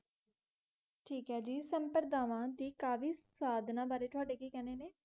ਠੀਕ ਏ ਜੀ ਸੰਪਰਦਾਵਾਂ ਦੀ ਕਾਵਿ ਸਾਧਨਾ ਬਾਰੇ ਤੁਹਾਡੇ ਕੀ ਕਹਿਣੇ ਨੇ?